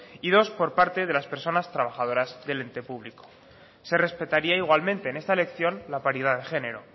y dos por parte de las personas trabajadoras del ente público se respetaría igualmente en esta elección la paridad de género